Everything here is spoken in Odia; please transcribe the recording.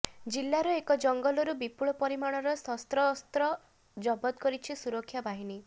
ଜିଲ୍ଲାର ଏକ ଜଙ୍ଗଲରୁ ବିପୁଳ ପରିମାଣର ଶସ୍ତ୍ରଶସ୍ତ୍ର ଜବତ କରିଛି ସୁରକ୍ଷା ବାହିନୀ